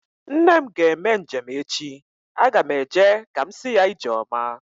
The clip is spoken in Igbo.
Nne m ga-eme njem echi. Aga m eje ka m si ya ijeoma